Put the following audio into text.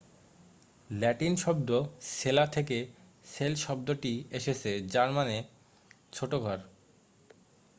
Latin শব্দ সেলা থেকে সেল শব্দটি এসেছে যার মানে ছোট ঘর